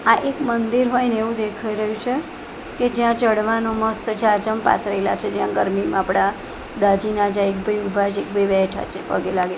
આ એક મંદિર હોય ને એવું દેખાય રહ્યું છે કે જ્યાં ચડવાનો મસ્ત ઝાઝમ પાથરેલા છે જ્યાં ગરમીમાં આપડા દાજી ના જાય એક ભઈ ઊભા છે એક ભઈ બેઠા છે પગે લાગે--